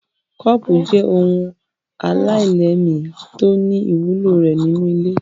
Kọ́ọ́pù jẹ́ ohun aláìlẹ́ẹ̀mí tó ní ìwúlò rẹ̀ nínú ilé.